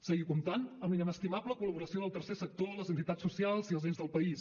seguir comptant amb la inestimable col·laboració del tercer sector les entitats socials i els ens del país